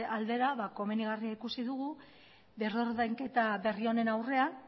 aldera komenigarria ikusi dugu berrordainketa berri honen aurrean